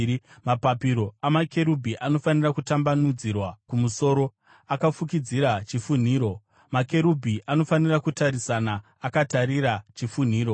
Mapapiro amakerubhi anofanira kutambanudzirwa kumusoro, akafukidzira chifunhiro. Makerubhi anofanira kutarisana, akatarira kuchifunhiro.